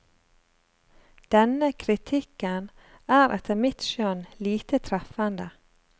Denne kritikken er etter mitt skjønn lite treffende.